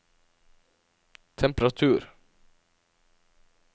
temperatur